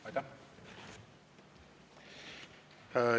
Aitäh!